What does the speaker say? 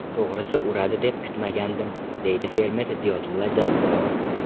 To‘g‘risi, uradi deb kutmagandim”, deydi fermer Ziyodulla Jabborov.